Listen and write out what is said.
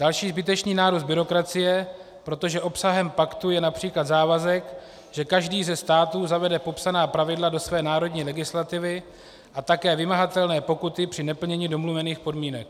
Další zbytečný nárůst byrokracie, protože obsahem paktu je například závazek, že každý ze států zavede popsaná pravidla do své národní legislativy a také vymahatelné pokuty při neplnění domluvených podmínek.